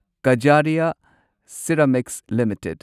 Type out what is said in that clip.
Kajaria ceramics limited